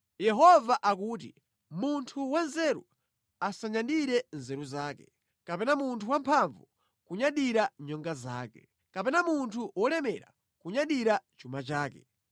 Yehova akuti, “Munthu wanzeru asanyadire nzeru zake, kapena munthu wamphamvu kunyadira nyonga zake, kapena munthu wolemera kunyadira chuma chake,